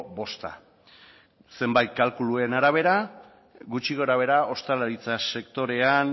bosta zenbait kalkuluen arabera gutxi gorabehera ostalaritza sektorean